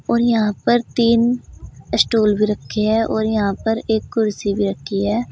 और यहां पर तीन स्टूल भी रखे हैं और यहां पर एक कुर्सी भी रखी है।